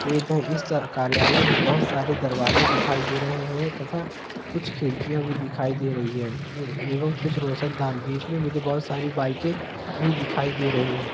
इस कार्यालय मे बोहोत सारे दरवाजे दिखाई दे रहे हैं तथा कुछ खिड़कियाँ भी दिखाई दे रही हैं ए एवं कुछ रोशनदान भी इसमे मुझे बोहोत सारी बाइके भी दिखाई दे रही हैं।